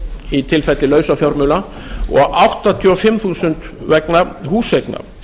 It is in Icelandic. í tilfelli lausafjármuna og áttatíu og fimm þúsund vegna húseigna